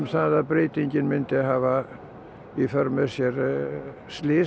að breytingin myndi hafa í för með sér